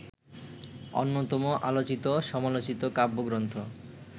অন্যতম আলোচিত-সমালোচিত কাব্যগ্রন্থ